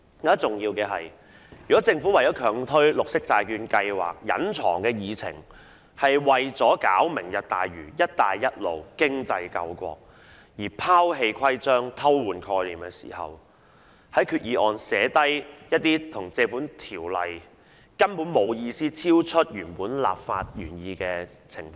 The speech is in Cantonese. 更重要的是，如果政府強推綠色債券計劃的隱藏議程是為了"明日大嶼"、"一帶一路"、經濟救國而拋棄規章、偷換概念，在決議案訂明一些不見於《條例》亦超出原本立法原意的情況，又是否值得呢？